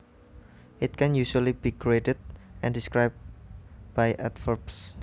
It can usually be graded and described by adverbs